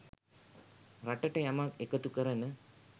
රටට යමක් එකතු කරන